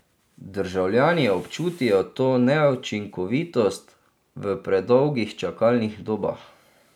Državljani občutijo to neučinkovitost v predolgih čakalnih dobah.